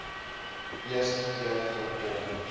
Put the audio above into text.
eerste keer voorkom